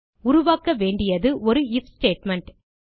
உருவாக்க வேண்டியது ஒரு ஐஎஃப் ஸ்டேட்மெண்ட்